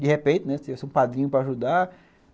De repente, né, se tivesse padrinho para ajudar.